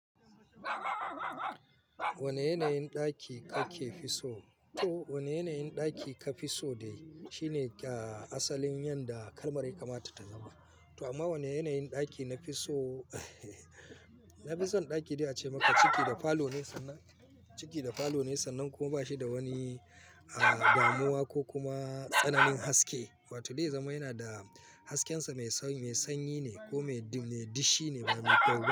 Wane yanayin ɗaki kake fi so? To wane yanayin ɗaki ka fi so dai shine ka asalin yadda kalmar ya kamata ta zama. To amma wane yanayin ɗaki na fi so? Na fi son ɗaki da a ce maka ciki da falo ne sannan, ciki da falo ne sannan kuma ba shi da wani, ah damuwa ko kuma tsananin haske. Wato dai zama yana da hasken sa mai sanyi ne ko mai dishi ne ba mai kyau ba.